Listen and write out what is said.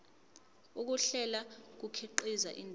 ukuhlela kukhiqiza indaba